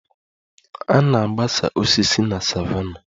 A na-agbasa osisi na savannah